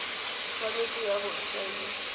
tshwanetse ya bo e saenilwe